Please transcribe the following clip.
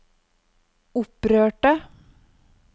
opprørte